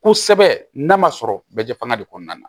Kosɛbɛ n'a ma sɔrɔ bɛɛ fanga de kɔnɔna na